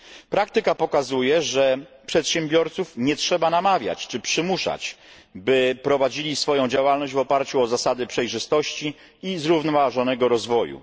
Praktyka pokazuje, że przedsiębiorców nie trzeba namawiać czy przymuszać, by prowadzili swoją działalność w oparciu o zasady przejrzystości i zrównoważonego rozwoju.